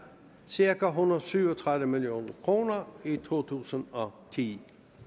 cirka en hundrede og syv og tredive million kroner i to tusind og ti